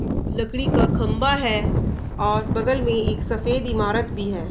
मम लकड़ी का खम्बा है और बगल में एक सफ़ेद ईमारत भी है।